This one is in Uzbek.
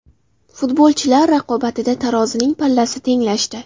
Futbolchilar raqobatida tarozining pallasi tenglashdi.